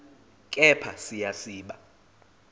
kepha siya siba